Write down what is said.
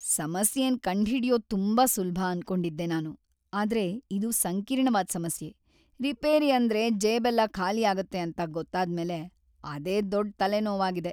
ಸಮಸ್ಯೆನ್‌ ಕಂಡ್ಹಿಡ್ಯೋದ್ ತುಂಬಾ ಸುಲ್ಭ ಅನ್ಕೊಂಡಿದ್ದೆ ನಾನು, ಆದ್ರೆ ಇದು ಸಂಕೀರ್ಣವಾದ್ ಸಮಸ್ಯೆ, ರಿಪೇರಿ ಅಂದ್ರೆ ಜೇಬೆಲ್ಲ ಖಾಲಿಯಾಗತ್ತೆ ಅಂತ ಗೊತ್ತಾದ್ಮೇಲೆ ಅದೇ ದೊಡ್ಡ್ ತಲೆನೋವಾಗಿದೆ.